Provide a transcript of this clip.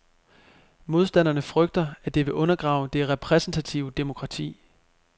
Modstanderne frygter, at det vil undergrave det repræsentative demokrati.